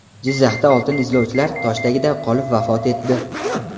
Jizzaxda oltin izlovchilar tosh tagida qolib vafot etdi.